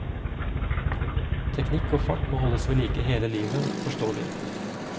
Teknikk og fart må holdes ved like hele livet, forstår vi.